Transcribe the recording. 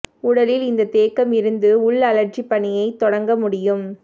உடலில் இந்த தேக்கம் இருந்து உள் அழற்சி பணியை தொடங்க முடியும்